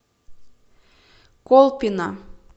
колпино